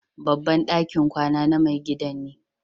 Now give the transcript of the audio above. Babban dakin kwana na mai gidan ne.